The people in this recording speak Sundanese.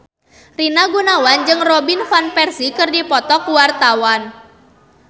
Rina Gunawan jeung Robin Van Persie keur dipoto ku wartawan